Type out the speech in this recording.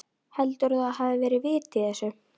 Heldurðu að það hafi verið vit í þessu?